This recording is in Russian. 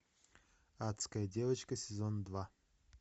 адская девочка сезон два